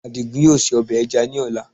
Àdìgún yóò se ọbẹ̀ ẹja lọ́la